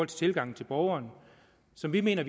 tilgangen til borgerne som vi mener